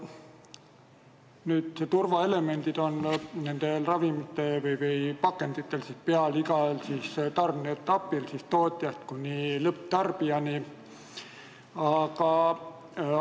Nüüd on turvaelemendid nendel pakenditel peal igal tarneetapil, alates tootmisest kuni lõpptarbija kätte jõudmiseni.